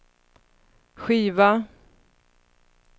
skiva